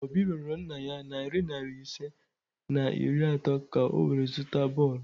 Obi rịorọ nna ya narị naịra ise na iri atọ ka o were ya zụta bọọlụ